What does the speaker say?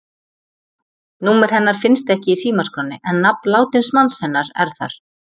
Númer hennar finnst ekki í símaskránni, en nafn látins manns hennar er þar.